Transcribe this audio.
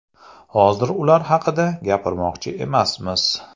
Hozir ular haqida gapirmoqchi emasmiz.